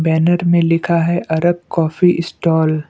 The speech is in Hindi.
बैनर में लिखा है आरक काफी स्टॉल ।